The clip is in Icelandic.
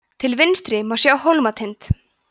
til vinstri má sjá hólmatind